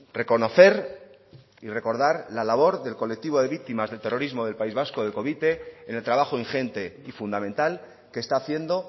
reconocer y recordar la labor del colectivo de víctimas del terrorismo del país vasco de covite en el trabajo ingente y fundamental que está haciendo